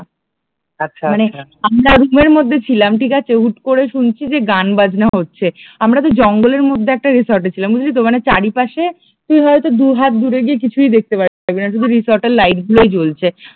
আমরা রুমের মধ্যে ছিলাম ঠিক আছে? হট করে শুনছি যে গান বাজনা হচ্ছে, আমরা তো আর জঙ্গলের মধ্যে একটা রিসোর্ট এ ছিলাম বুঝলি তো মানে চারিপাশে তুই হয়তো দু হাত দূরে গিয়ে কিছুই দেখতে পারবি না শুধু রিসোর্ট এর লাইট গুলোই জ্বলছে